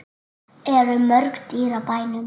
Eru mörg dýr á bænum?